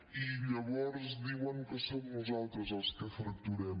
i llavors diuen que som nosaltres els que fracturem